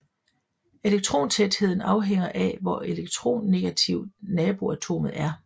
Elektrontætheden afhænger af hvor elektronegativt naboatomet er